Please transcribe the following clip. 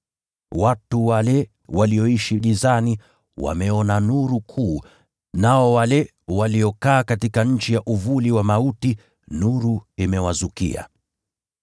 watu wale waliokaa gizani wameona nuru kuu; nao wale walioishi katika nchi ya uvuli wa mauti, nuru imewazukia.”